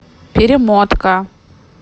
перемотка